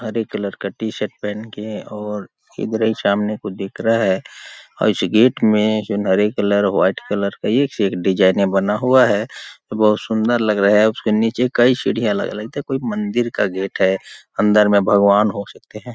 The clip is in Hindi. हरे कलर का टी-शर्ट पहन के और ईधर ही सामने को देख रहा है ऐसे गेट में हरे कलर व्हाइट कलर एक से एक डिज़ाइने बना हुआ है बहुत सुंदर लग रहा है उसके नीचे कई सीढ़ियाँ अलग -अलग है लगता है कोई मंदिर का गेट है अंदर में भगवान हो सकते हैं।